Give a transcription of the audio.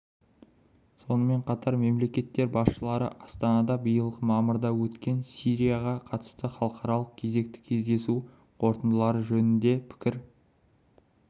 сонымен қатар мемлекеттер басшылары астанада биылғы мамырда өткен сирияға қатысты халықаралық кезекті кездесу қорытындылары жөнінде пікір